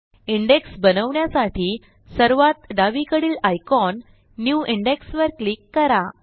index बनवण्यासाठी सर्वात डावीकडील आयकॉन न्यू इंडेक्स वर क्लिक करा